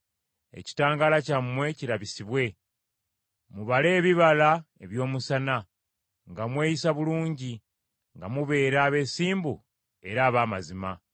ekitangaala kyammwe kirabisibwe. Mubale ebibala eby’omusana nga mweyisa bulungi, nga mubeera abeesimbu era ab’amazima,